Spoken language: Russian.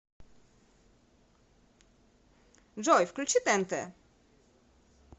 джой включи тээнтэ